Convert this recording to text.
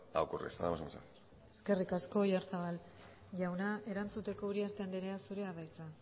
a ocurrir nada más y muchas gracias eskerrik asko oyarzabal jauna erantzuteko uriarte andrea zurea da hitza